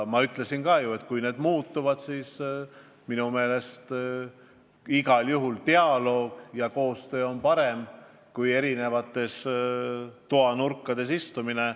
Ma ütlesin ka, et kui need põhimõtted muutuvad, siis minu meelest igal juhul dialoog ja koostöö on parem kui eri toanurkades istumine.